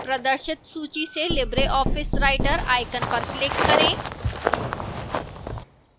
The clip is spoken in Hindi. प्रदर्शित सूची से libreoffice writer icon पर click करें